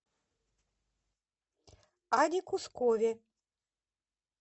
аде кускове